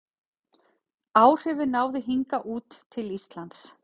Áhrifin náðu hingað út til Íslands.